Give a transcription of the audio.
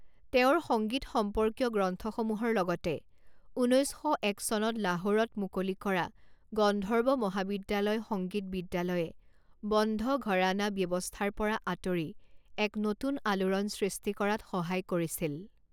তেওঁৰ সংগীত সম্পৰ্কীয় গ্ৰন্থসমূহৰ লগতে ঊনৈছ শ এক চনত লাহোৰত মুকলি কৰা গন্ধৰ্ব মহাবিদ্যালয় সংগীত বিদ্যালয়ে বন্ধ ঘৰানা ব্যৱস্থাৰ পৰা আঁতৰি এক নতুন আলোড়ন সৃষ্টি কৰাত সহায় কৰিছিল।